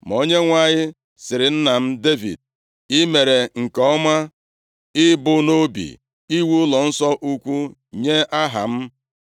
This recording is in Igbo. Ma Onyenwe anyị sịrị nna m, Devid, ‘I mere nke ọma ibu nʼobi, iwu ụlọnsọ ukwu nye Aha m.